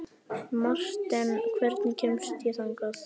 Marten, hvernig kemst ég þangað?